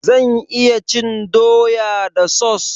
Zan iya cin doya da sos?